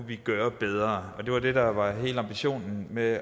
vi kan gøre bedre og det var det der var hele ambitionen med